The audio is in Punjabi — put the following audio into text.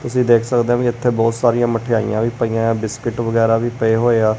ਤੁਸੀਂ ਦੇਖ ਸਕਦੇ ਹੋ ਵੀ ਇੱਥੇ ਬਹੁਤ ਸਾਰੀਆਂ ਮਠਿਆਈਆਂ ਵੀ ਪਈਆਂ ਆ ਬਿਸਕਿਟ ਵਗੈਰਾ ਵੀ ਪਏ ਹੋਏ ਆ।